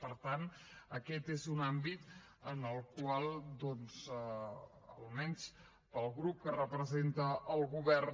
per tant aquest és un àmbit en el qual almenys pel grup que representa el govern